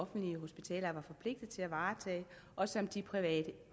offentlige hospitaler er forpligtede til at varetage og som de private